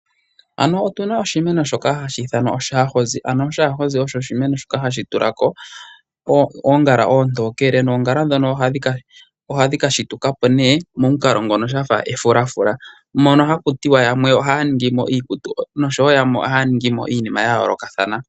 Shika hashi tulako oongala oontokele noongala ndhono ohadhi kashitukapo nee momukalo ngono shafa efulafula mono hakutiwa yamwe ohaya ningimo iikutu noshowo yamwe ohaya ningimo iinima ya yoolokathana